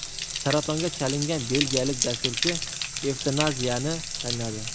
Saratonga chalingan belgiyalik dasturchi evtanaziyani tanladi.